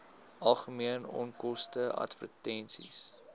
algemene onkoste advertensies